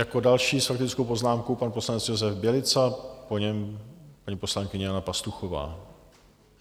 Jako další s faktickou poznámkou pan poslanec Josef Bělica, po něm paní poslankyně Jana Pastuchová.